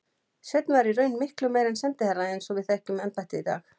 Sveinn var í raun miklu meira en sendiherra eins og við þekkjum embættið í dag.